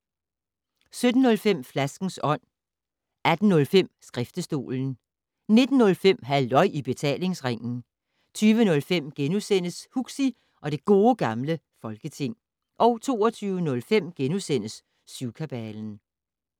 17:05: Flaskens Ånd 18:05: Skriftestolen 19:05: Halløj i Betalingsringen 20:05: Huxi og det Gode Gamle Folketing * 22:05: Syvkabalen *